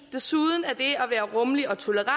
desuden er det at være rummelig og tolerant